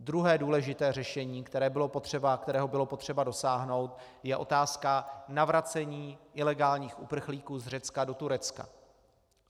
Druhé důležité řešení, kterého bylo potřeba dosáhnout, je otázka navracení ilegálních uprchlíků z Řecka do Turecka.